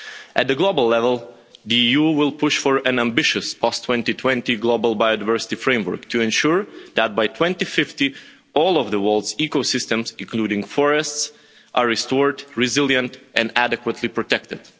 At the global level, the EU will push for an ambitious post 2020 global biodiversity framework to ensure that by 2050 all of the world's ecosystems, including forests, are restored, resilient and adequately protected.